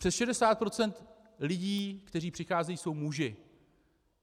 Přes 60 % lidí, kteří přicházejí, jsou muži.